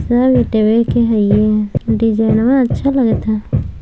सब ईंटवे के हइए ह डिज़ाइनवा अच्छा लगता।